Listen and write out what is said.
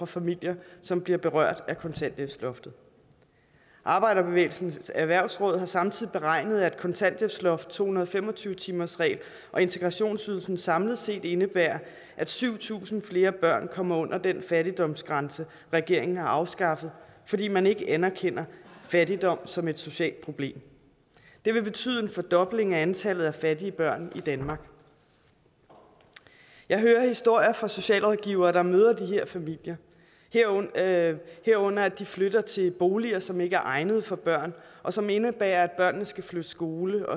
familier som bliver berørt af kontanthjælpsloftet arbejderbevægelsens erhvervsråd har samtidig beregnet at kontanthjælpsloftet to hundrede og fem og tyve timersreglen og integrationsydelsen samlet set indebærer at syv tusind flere børn kommer under den fattigdomsgrænse regeringen har afskaffet fordi man ikke anerkender fattigdom som et socialt problem det vil betyde en fordobling af antallet af fattige børn i danmark jeg hører historier fra socialrådgivere der møder de her familier herunder at herunder at de flytter til boliger som ikke er egnet for børn og som indebærer at børnene skal flytte skole